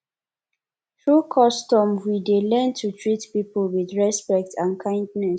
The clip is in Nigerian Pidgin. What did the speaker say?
through custom we dey learn to treat people with respect and kindness